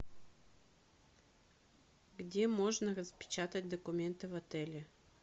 где можно распечатать документы в отеле